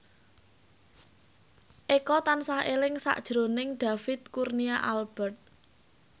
Eko tansah eling sakjroning David Kurnia Albert